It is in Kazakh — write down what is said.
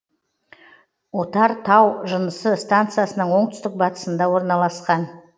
отар тау жынысы станциясының оңтүстік батысында орналасқан